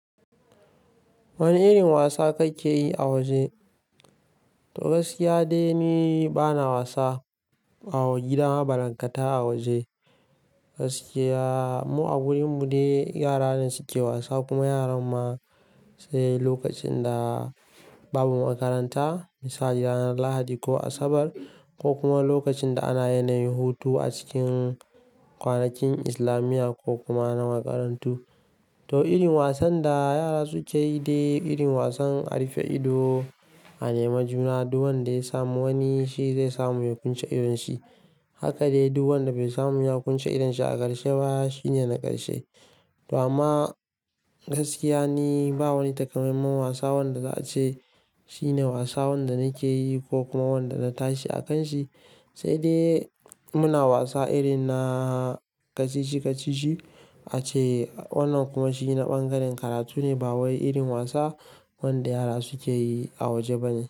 Wane irin wasa kake yi a waje? To Gaskiya dai ni bana wasa a gida balankata a waje. Gaskiya Mu a wurin mu dai ne yara ne suke wasa. Kuma yaran ma, sai lokacin da babu makaranta, misali ranar Lahadi ko Asabar ko kuma lokacin da ana yanayin hutu a cikin kwanakin islamiya ko kuma na makarantu. To irin wasan da yara suke yi dai irin wasan a rufe ido, a nema juna, duk wanda ya samu wani shi zai samu ya kunce idon shi. Haka dai duk wanda bai samu ya kunce idon shi a ƙarshe ba, shine na ƙarshe. To amma gaskiya ni ba wani takamaiman wasa wanda za a ce shine wasa wanda nake yi ko kuma wanda na tashi a kan shi. Sai dai muna wasa irin na kacici-kacici a ce wannan kuma shi na bangaren karatu ne, ba wai irin wasa wanda yara suke yi a waje bane.